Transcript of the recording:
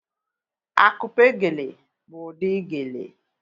Akupe geele bụ ụdị geele